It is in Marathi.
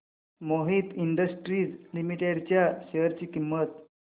मोहित इंडस्ट्रीज लिमिटेड च्या शेअर ची किंमत